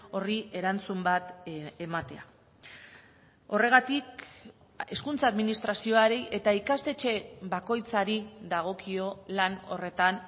horri erantzun bat ematea horregatik hezkuntza administrazioari eta ikastetxe bakoitzari dagokio lan horretan